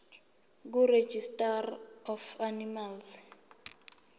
kuregistrar of animals